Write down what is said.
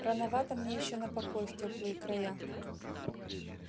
рановато мне ещё на покой в тёплые края